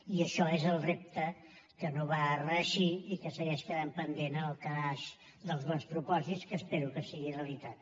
i això és el repte que no va reeixir i que segueix quedant pendent en el calaix dels bons propòsits que espero que sigui realitat